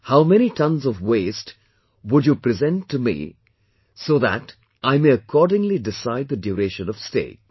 How many tonnes of waste would you present to me so that I may accordingly decide the duration of stay